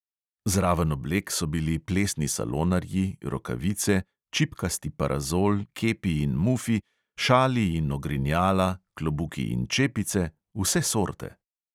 Zraven oblek so bili plesni salonarji, rokavice, čipkasti parazol, kepi in mufi, šali in ogrinjala, klobuki in čepice, vse sorte!